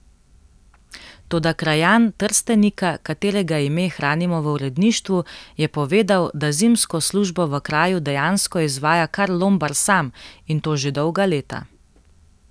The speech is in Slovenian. Toda krajan Trstenika, katerega ime hranimo v uredništvu, je povedal, da zimsko službo v kraju dejansko izvaja kar Lombar sam, in to že dolga leta.